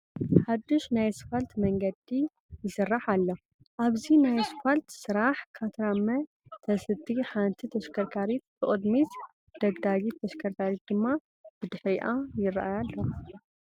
ሓዱሽ ናይ ስፋልት መንገዲ ይስራሕ ኣሎ፡፡ ኣብዚ ናይ ስፋል ስራሕ ካትራመ ተስትይ ሓንቲ ተሽከርካሪት ብቕድሚት ደግዳጊት ተሽከርካሪት ድማ ደድሕሪኣ ይርአያ ኣለዋ፡፡